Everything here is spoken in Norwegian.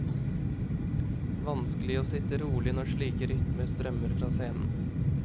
Vanskelig å sitte rolig når slike rytmer strømmer fra scenen.